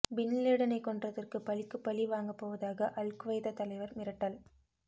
பின்லேடனை கொன்றதற்கு பழிக்கு பழி வாங்கப்போவதாக அல் குவைதா தலைவர் மிரட்டல்